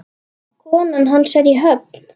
Konan hans er í Höfn.